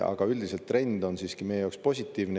Aga üldiselt trend on siiski meie jaoks positiivne.